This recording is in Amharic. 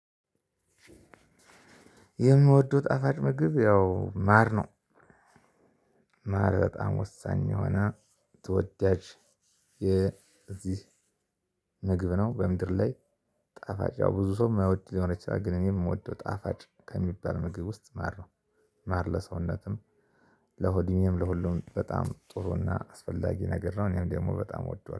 የምወደው ጣፋጭ ምግብ ያው ማር ነው። ማር በጣም ወሳኝ የሆነ ተወዳጅ- የዚህ ምግብ ነው። በምድር ላይ ጣፋጭ ብዙ ሰው የማይወድ ሊሆን ይችላል። ግን እኔ የምወደው ጣፋጭ ከሚባል ምግብ ውስጥ ማር ነው። ማር ለሰውነትም ለሆድ ህመም ለሁሉም በጣም ጥሩና አስፈላጊ ነገር ነው። እኔም ደግሞ በጣም እወደዋለሁ።